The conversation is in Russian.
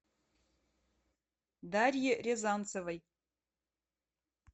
дарье рязанцевой